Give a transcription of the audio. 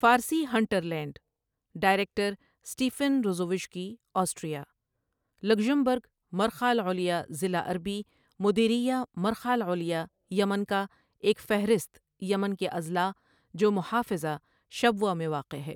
فارسی hinterland, director Stefan Ruzowitzky Austria, Luxembourg مرخہ العلیا ضلع عربی مديرية مرخة العليا یمن کا ایک فہرست یمن کے اضلاع جو محافظہ شبوہ میں واقع ہے ۔